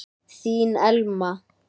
Þín Elma.